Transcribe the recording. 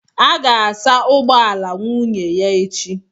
a ga-asa ụgbọ ala nwunye ya echi